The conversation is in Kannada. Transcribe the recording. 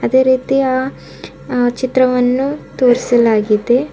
ಅದೇ ರೀತಿಯ ಆ ಚಿತ್ರವನ್ನು ತೋರಿಸಲಾಗಿದೆ.